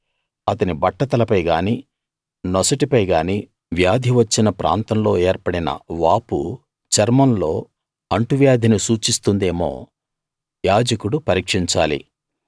అతని బట్టతలపై గానీ నొసటిపై గానీ వ్యాధి వచ్చిన ప్రాంతంలో ఏర్పడిన వాపు చర్మంలో అంటువ్యాధిని సూచిస్తుందేమో యాజకుడు పరీక్షించాలి